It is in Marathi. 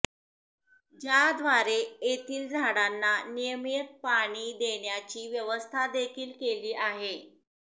ज्याद्वारे येथील झाडांना नियमित पाणी देण्याची व्यवस्थादेखील केली आहे